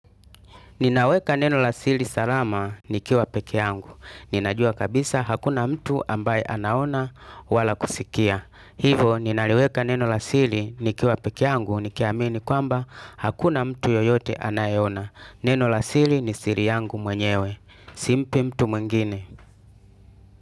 Ninaweka neno asili salama nikiwa pekee yangu. Ninajua kabisa hakuna mtu ambaye anaona wala kusikia. Hivo ninaliweka neno asili nikiwa pekee yangu nikiamini kwamba hakuna mtu yeyote anayeona. Neno asili ni siri yangu mwenyewe. Simpi mtu mwingine.